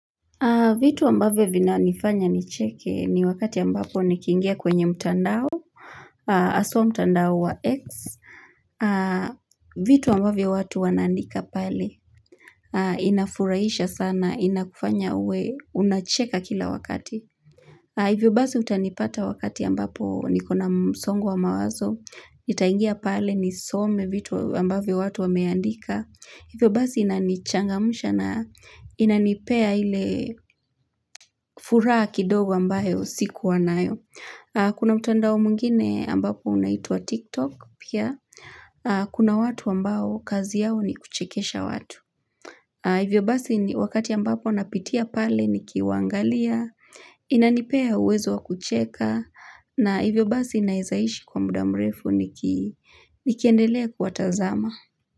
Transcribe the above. Vitu ambavyo vinanifanya nicheke ni wakati ambapo nikiingia kwenye mtandao, haswa mtandao wa X. Vitu ambavyo watu wanaandika pale. Inafurahisha sana, inakufanya uwe, unacheka kila wakati. Hivyo basi utanipata wakati ambapo nikona msongo wa mawazo. Nitaingia pale nisome vitu ambavyo watu wameandika. Hivyo basi inanichangamusha na inanipea ile furaha kidogo ambayo sikuwa nayo. Kuna mtandao mwingine ambapo unaitwa TikTok pia. Kuna watu ambao kazi yao ni kuchekesha watu. Hivyo basi wakati ambapo napitia pale nikiwaangalia. Inanipea uwezo wa kucheka. Na hivyo basi naeza ishi kwa muda mrefu nikiendelea kuwatazama.